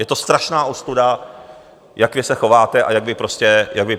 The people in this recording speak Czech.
Je to strašná ostuda, jak vy se chováte a jak vy prostě hovoříte.